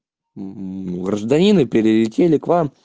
гражданин и перелетели к вам